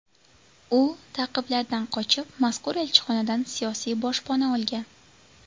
U ta’qiblardan qochib, mazkur elchixonadan siyosiy boshpana olgan.